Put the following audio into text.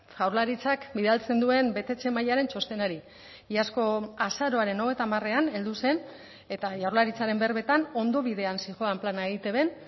jaurlaritzak bidaltzen duen betetze mailaren txostenari iazko azaroaren hogeita hamarean heldu zen eta jaurlaritzaren berbetan ondo bidean zihoan plana eitbn